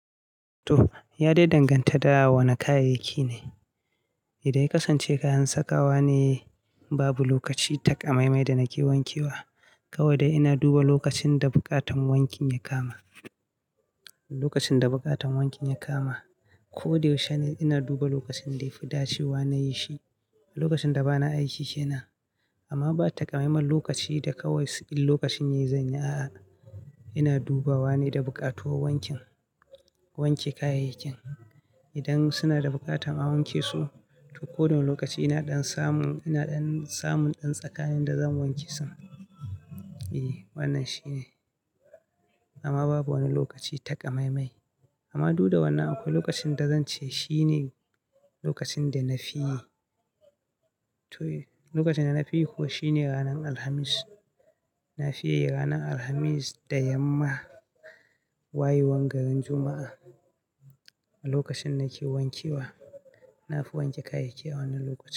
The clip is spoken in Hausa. To, ya dai danganta da wa na kayayyaki ne. Idan ya kasance kayan sakawa ne, babu lokaci takamaimai da nake wanke wa. Kawai dai ina duba lokacin da buƙatan wankin ya kama. Lokacin da buƙatan wankin ya kama, ko dayau shene ina duba lokacin da yafi dacewa na yi shi. Lokacin da bana aiki kenan, amma ba takamaiman lokaci da kawai inlokacin yayizan yi, a'a. Ina dubawa ne da bukatuwar wankin, wanke kayayyakin. Idan suna da buƙatan a wanke su, to kodawani lokaci ina ɗan samun, ina ɗan samun ɗan tsakayan da zan wanke su. E, wannan shi ne. Amma babu wani lokaci taƙamaimai. Amma duda wannan akwai lokacin da zan ce shine lokacin da na fi yi. To lokacin dana fiyi, kuma shine ranar Alhamis. Na fi yi ranar Alhamis da yamma wayewar garin Juma'a. Lokacin nake wanke wa, na fi wanke kayayyaki a wannan lokacin.